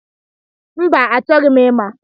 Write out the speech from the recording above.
Mba, achọghị m ịma.